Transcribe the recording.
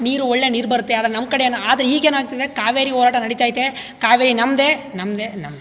ನೀರು ಒಳ್ಳೆ ನೀರ್ ಬರುತ್ತೆ ಆದ್ರೆ ನಮ್ಮ್ ಕಡೆ ಏನು ಆದ್ರೆ ಈಗೇನ್ ಆಗತ್ತಾ ಇದೆ ಕಾವೇರಿ ಹೋರಾಟ ನಡಿತೈತೆ ಕಾವೇರಿ ನಮ್ಮದೆ ನಮ್ಮದೆ ನಮ್ಮದೆ.